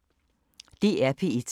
DR P1